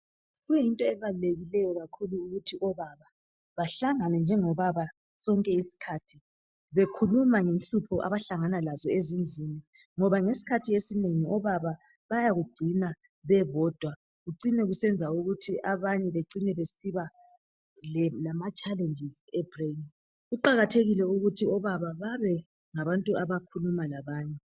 Kuyinto ebalulekileyo kakhulu ukuthi obaba bahlangane njengobaba sonke isikhathi ,bekhukuma ngenhlupho abahlangana lazo ezindlini ngoba ngesikhathi esinengi obaba bayakugcina bebodwa kucine kusenza ukuthi banye becine besiba lama challenges ebrain. Kuqakathekile ukuthi obaba babe ngabantu abakhuluma labanye.